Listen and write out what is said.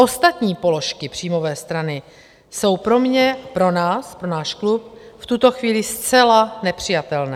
Ostatní položky příjmové strany jsou pro mě - pro nás, pro náš klub - v tuto chvíli zcela nepřijatelné.